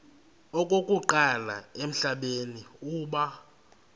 okokuqala emhlabeni uba